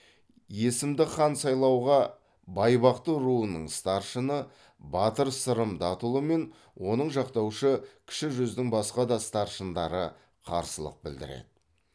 есімді хан сайлауға байбақты руының старшыны батыр сырым датұлы мен оны жақтаушы кіші жүздің басқа да старшындары қарсылық білдіреді